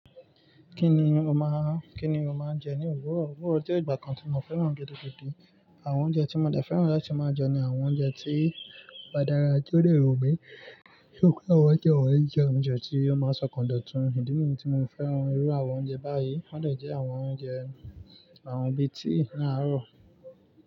Kí ni o máa, kí ni o máa ń jẹ ní òwúrọ̀? Òwúrọ̀ jẹ́ ìgbà kan tí mo fẹ́ràn gidi gidi. Àwọn oúnjẹ tí mo dẹ̀ fẹ́ràn láti máa jẹ ni àwọn oúnjẹ tí ó bá dára ti o de wu mí. Yóò pé awon ounje wonyí jẹ oúnjẹ tí ó máa n ṣọ̀kàn dọ̀tun ìdí nìyí tí mo fi fẹ́ràn irú àwọn oúnjẹ báyìí. Wọ́n dẹ̀ jẹ́ àwọn oúnjẹ, àwọn bíi tíì ni áàrọ̀.